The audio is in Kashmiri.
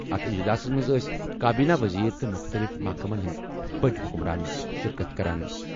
اَتھ اجلاسَس منٛز ٲسۍ کابیٖنی ؤزیٖر تہٕ مُختٔلِف محکمَن ہِنٛدِ بٔڈۍ حُکُمران شِرکت کران ۔